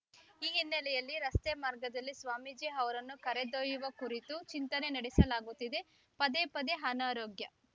ಈ ಹಿನ್ನೆಲೆಯಲ್ಲಿ ರಸ್ತೆ ಮಾರ್ಗದಲ್ಲಿ ಸ್ವಾಮೀಜಿ ಅವರನ್ನು ಕರೆದೊಯ್ಯುವ ಕುರಿತು ಚಿಂತನೆ ನಡೆಸಲಾಗುತ್ತಿದೆ ಪದೇ ಪದೆ ಅನಾರೋಗ್ಯ